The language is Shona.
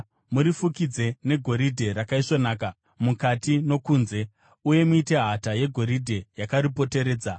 Murifukidze negoridhe rakaisvonaka, mukati nokunze, uye muite hata yegoridhe yakaripoteredza.